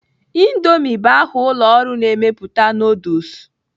Indoomi bụ aha ụlọ ọrụ na-emepụta nuduls.